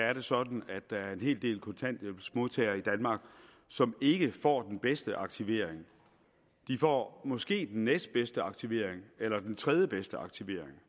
er det sådan at der er en hel del kontanthjælpsmodtagere i danmark som ikke får den bedste aktivering de får måske den næstbedste aktivering eller den tredjebedste aktivering